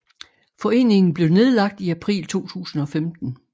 Foreningen blev nedlagt i april 2015